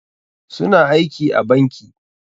Su na aiki a banki.